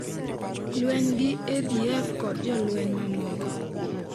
Lweny gi ADF kod jolweny mamoko.